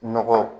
Nɔgɔ